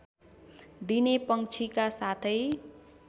दिने पंक्षीका साथै